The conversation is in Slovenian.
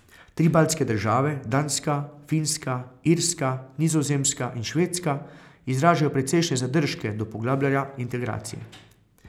Tri baltske države, Danska, Finska, Irska, Nizozemska in Švedska izražajo precejšnje zadržke do poglabljanja integracije.